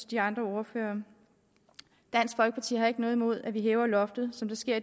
de andre ordførere dansk folkeparti har ikke noget imod at vi hæver loftet som det sker